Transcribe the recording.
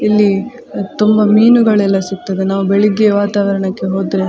ಇಲ್ಲಿ ತುಂಬ ಮೀನುಗಳೆಲ್ಲ ಸಿಗ್ತದೆ ನಾವು ಬೆಳಿಗ್ಗೆ ವಾತಾವರಣಕ್ಕೆ ಹೋದ್ರೆ --